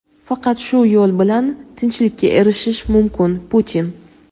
faqat shu yo‘l bilan tinchlikka erishish mumkin – Putin.